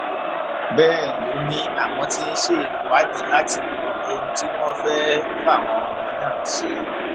bẹ́ẹ̀ ló ní àwọn tí ń ṣe ìwádìí láti mọ ohun tí wọ́n fẹ́ fáwọn ọmọ náà ṣe